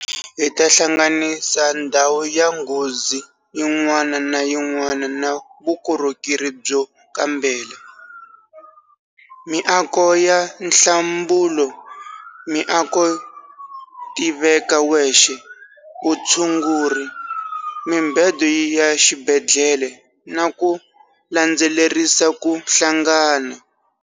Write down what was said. Hi ta hlanganisa ndhawu ya nghozi yin'wana na yin'wana na vukorhokeri byo kambela, miako ya nhlambulo, miako yo tiveka wexe, vutshunguri, mibedo ya xibedhlele na ku landzelerisa ku hlangana.